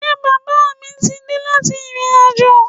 Ṣé bàbá mí ti dé láti ìrìnàjò?